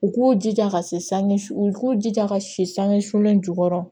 U k'u jija ka se san u k'u jija ka si sange sulen jukɔrɔ